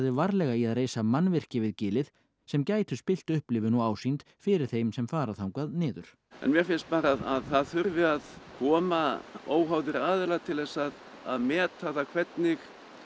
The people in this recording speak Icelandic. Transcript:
varlega í að reisa mannvirki við gilið sem gætu spillt upplifun og ásýnd fyrir þeim sem fara þangað niður mér finnst bara að það þurfi að koma óháðir aðilar til þess að að meta hvernig